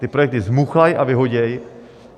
Ty projekty zmuchlají a vyhodí.